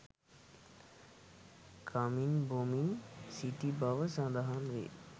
කමින් බොමින් සිටි බව සඳහන් වේ